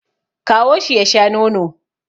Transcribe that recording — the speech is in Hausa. Kawo shi ya sha nono